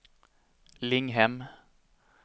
Linghem